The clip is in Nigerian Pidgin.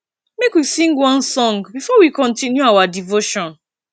make we sing one song before we continue our devotion